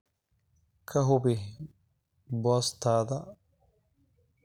ka hubi boostada wax kasta oo fatma ah